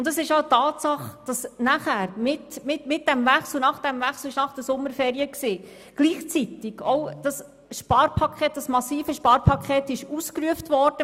Es ist auch eine Tatsache, dass mit diesem Wechsel nach den Sommerferien gleichzeitig das massive Sparpaket ausgerufen wurde.